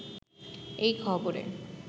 এই খবরে